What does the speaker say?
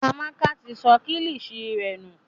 Amaka ti sọ kilishi rẹ nù.